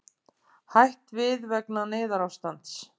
Hætt við vegna neyðarástands